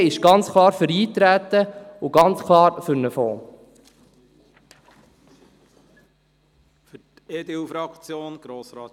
Die BDP ist klar für das Eintreten und ebenso klar für einen Fonds.